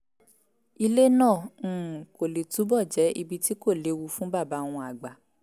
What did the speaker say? ilé náà um kó lè túbọ̀ jẹ́ ibi tí kò léwu fún bàbá wọn àgbà